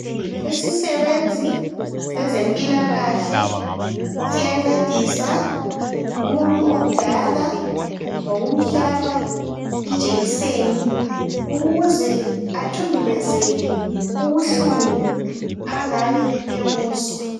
Isisebenzi sezempilakahle, siyancedisa umuntu omdala ngomkuhlaba ijekiseni. Ukuze athundubezeke ubuhlungu angabe ebuzwa.